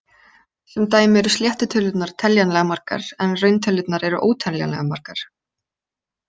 Sem dæmi eru sléttu tölurnar teljanlega margar, en rauntölurnar eru óteljanlega margar.